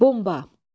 Bomba.